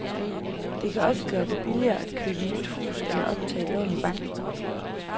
Det kan også gøre det billigere at købe nyt hus eller optage et lån i banken.